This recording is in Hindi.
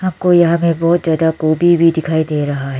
कोई यहां मे बहुत ज्यादा गोभी भी दिखाई दे रहा है।